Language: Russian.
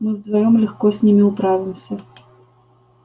мы вдвоём легко с ними управимся